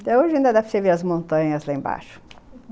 Até hoje ainda dá para você ver as montanhas lá embaixo.